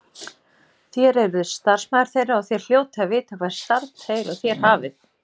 Þér eruð starfsmaður þeirra og þér hljótið að vita hvert starf þeir og þér hafið.